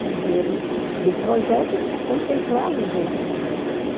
O dinheiro do projeto contemplava os outros índios também.